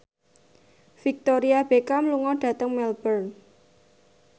Victoria Beckham lunga dhateng Melbourne